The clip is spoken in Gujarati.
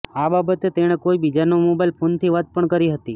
આ બાબતે તેણે કોઈ બીજાના મોબાઈલ ફોનથી વાત પણ કરી હતી